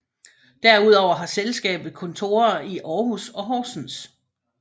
Derudover har selskabet kontorer i Aarhus og Horsens